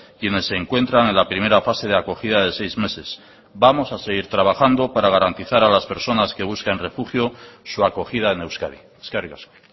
quienes se encuentran en la primera fase de acogida de seis meses vamos a seguir trabajando para garantizar a las personas que busquen refugio su acogida en euskadi eskerrik asko